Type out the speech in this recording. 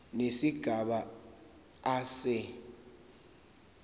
nesigaba a se